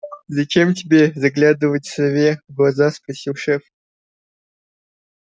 зачем тебе заглядывать сове в глаза спросил шеф